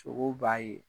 Sogo b'a ye